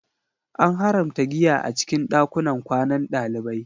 An haramta giya a cikin ɗakunan kwanan ɗalibai